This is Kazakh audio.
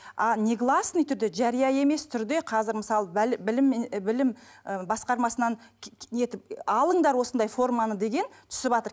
а негласный түрде жария емес түрде қазір мысалы білімен і білім і басқармасынан нетіп алыңдар осындай форманы деген түсіватыр